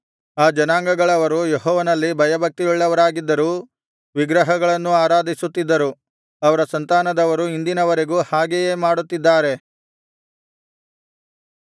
ಆ ಜನಾಂಗಗಳವರು ಯೆಹೋವನಲ್ಲಿ ಭಯಭಕ್ತಿಯುಳ್ಳವರಾಗಿದ್ದರೂ ವಿಗ್ರಹಗಳನ್ನೂ ಆರಾಧಿಸುತ್ತಿದ್ದರು ಅವರ ಸಂತಾನದವರು ಇಂದಿನವರೆಗೂ ಹಾಗೆಯೇ ಮಾಡುತ್ತಿದ್ದಾರೆ